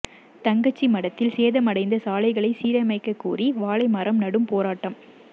தங்கச்சிமடத்தில் சேதமடைந்த சாலைகளை சீரமைக்கக் கோரி வாழை மரம் நடும் போராட்டம்